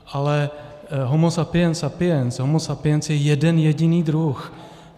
Ale homo sapiens sapiens, homo sapiens je jeden jediný druh.